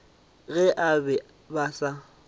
ge ba be ba sa